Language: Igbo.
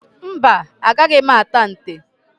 Mba, agaghị m ata nte.